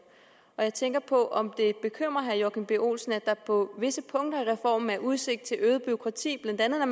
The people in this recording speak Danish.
og jeg tænker på om det bekymrer herre joachim b olsen at der på visse punkter af reformen er udsigt til øget bureaukrati blandt andet når